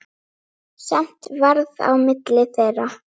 Skammt varð á milli þeirra.